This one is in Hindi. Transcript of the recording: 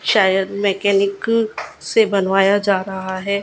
शायद मैकेनिक से बनवाया जा रहा है।